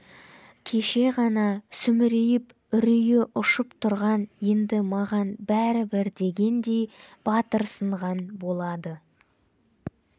кеш еғана сүмірейіп үрейі ұшып тұрған енді маған бәрібір дегендей батырсынған болады